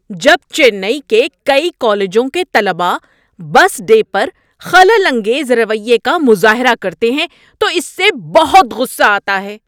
‏جب چنئی کے کئی کالجوں کے طلبہ بس ڈے پر خلل انگیز رویے کا مظاہرہ کرتے ہیں تو اس سے بہت غصہ آتا ہے۔